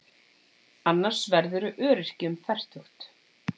Annars verðurðu öryrki um fertugt.